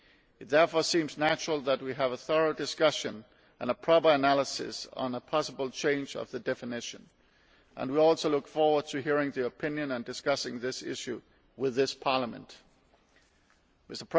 It therefore seems natural that we have a thorough discussion and a proper analysis on a possible change of the definition, and we also look forward to hearing the opinion of Parliament and discussing this issue with it.